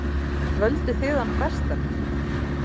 Völduð þið hann bestan?